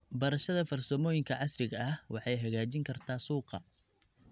Barashada farsamooyinka casriga ah waxay hagaajin kartaa suuqa.